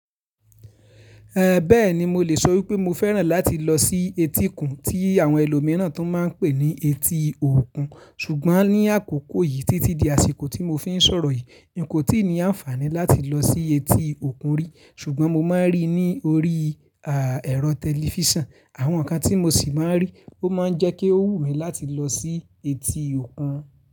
Eh bẹ́ẹ̀ni, mo lè sọ wí pé mo fẹ́ràn láti lọ sí etí'kun tí àwọn ẹlòmíràn tún máa ń pè ní etí òkun. Sùgbọ́n ní àkókò yìí, títí di àsìkò tí mo fi ń sọ̀rọ yìí, n kò tíì ní àǹfàní láti lọ sí etí òkun rí. Sùgbọ́n mo máa ń rí i ní orí àà ẹ̀rọ tẹlifíṣàn. Àwọn nǹkan tí mo sì máa ń rí, ó máa ń jẹ́ kí ó wù mí láti lọ sí etí òkun.